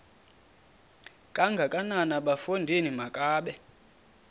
kangakanana bafondini makabe